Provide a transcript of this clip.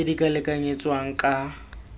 tse di ka lekanyetswang ka